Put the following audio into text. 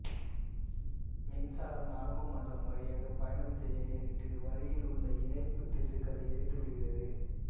மின்சாரம் நரம்பு மண்டலம் வழியாக பயணம் செய்ய நேரிட்டு வழியில் உள்ள இணைப்புத் திசுக்களை எரித்து விடுகிறது